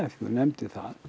þú nefndir það